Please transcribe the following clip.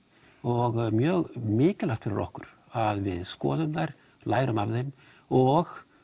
og það er mjög mikilvægt fyrir okkur að við skoðum þær lærum af þeim og